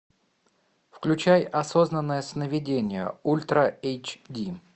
включай осознанное сновидение ультра эйч ди